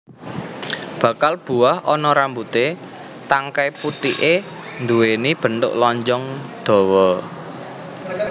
Bakal buah ana rambuté tangkai putiké nduwéni bentuk lonjong dawa